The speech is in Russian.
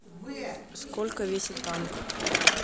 сколько весит танк